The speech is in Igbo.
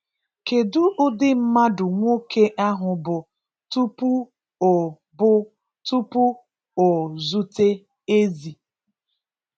Kedu ụdị mmadụ nwoke ahụ bụ tupu o bụ tupu o zute Ezi?